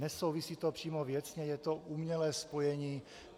Nesouvisí to přímo věcně, je to umělé spojení.